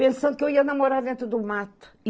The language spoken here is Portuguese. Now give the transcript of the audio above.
Pensando que eu ia namorar dentro do mato.